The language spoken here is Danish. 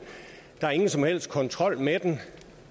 der er ingen som helst kontrol med